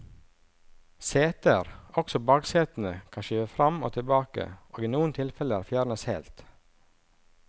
Seter, også baksetene, kan skyves frem og tilbake og i noen tilfeller fjernes helt.